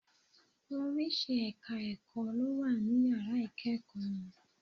Oríṣi ẹ̀ka ẹ̀kọ́ ló ní Yàrá ìkẹ́ẹ̀kọ̀ wọn.